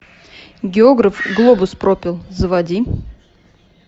географ глобус пропил заводи